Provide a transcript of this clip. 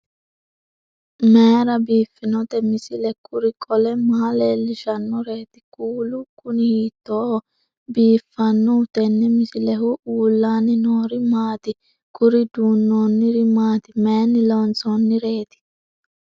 mayra biiffinote misile? kuri qole maa leellishannoreeti? kuulu kuni hiittooho biifannoho tenne misilehu? uullaanni noori maati? kuri duunnoonniri maati mayinni loonsoonnireeti